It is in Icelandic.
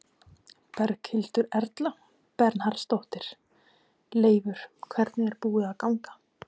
Berghildur Erla Bernharðsdóttir: Leifur, hvernig er búið að ganga?